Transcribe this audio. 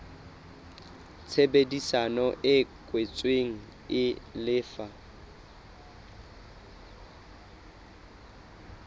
tshebedisano e kwetsweng e lefa